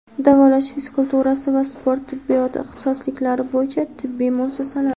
davolash fizkulturasi va sport tibbiyoti ixtisosliklari bo‘yicha tibbiy muassasalar.